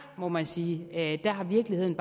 må man sige at virkeligheden